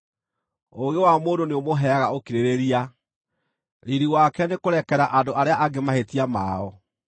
Ũũgĩ wa mũndũ nĩũmũheaga ũkirĩrĩria, riiri wake nĩkũrekera andũ arĩa angĩ mahĩtia mao.